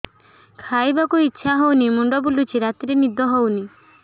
ଖାଇବାକୁ ଇଛା ହଉନି ମୁଣ୍ଡ ବୁଲୁଚି ରାତିରେ ନିଦ ହଉନି